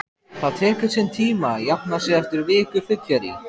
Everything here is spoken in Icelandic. Það tekur sinn tíma að jafna sig eftir viku fyllerí